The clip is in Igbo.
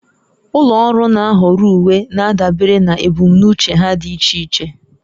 Ụlọ ọrụ na-ahọrọ uwe na-adabere na ebumnuche ha dị iche iche